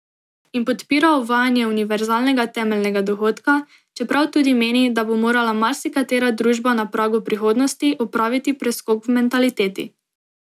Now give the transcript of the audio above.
In podpira uvajanje univerzalnega temeljnega dohodka, čeprav tudi meni, da bo morala marsikatera družba na pragu prihodnosti, opraviti preskok v mentaliteti.